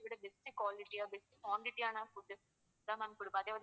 best quality அ best quantity ஆன food தான் கொடுப்போம்.